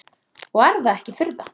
Og er það ekki furða.